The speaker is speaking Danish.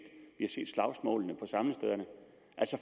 slagsmålene